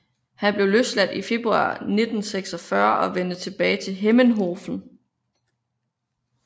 Han blev løsladt i februar 1946 og vendte tilbage til Hemmenhofen